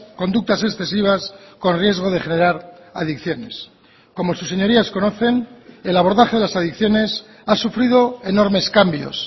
conductas excesivas con riesgo de generar adicciones como sus señorías conocen el abordaje de las adicciones ha sufrido enormes cambios